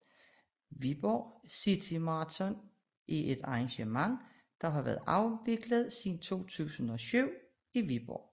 Viborg City Marathon er et arrangement der har været afviklet siden 2007 i Viborg